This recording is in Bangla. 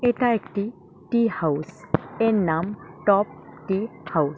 এটা একটি টি হাউস এর নাম টপ টি হাউস ।